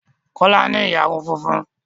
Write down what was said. Kọ́lá ní ìyarun funfun